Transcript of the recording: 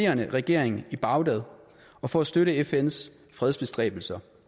regering i bagdad og for at støtte fns fredsbestræbelser